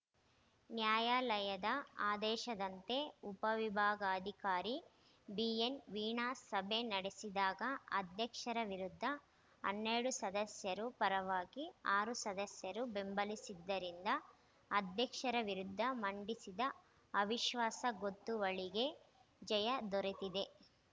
ನ್ಯಾಯಾಲಯದ ಆದೇಶದಂತೆ ಉಪವಿಭಾಗಾಧಿಕಾರಿ ಬಿಎನ್ ವೀಣಾ ಸಭೆ ನಡೆಸಿದಾಗ ಅಧ್ಯಕ್ಷರ ವಿರುದ್ದ ಹನ್ನೆರಡು ಸದಸ್ಯರು ಪರವಾಗಿ ಆರು ಸದಸ್ಯರು ಬೆಂಬಲಿಸಿದ್ದರಿಂದ ಅಧ್ಯಕ್ಷರ ವಿರುದ್ಧ ಮಂಡಿಸಿದ ಅವಿಶ್ವಾಸ ಗೊತ್ತುವಳಿಗೆ ಜಯ ದೊರೆತಿದೆ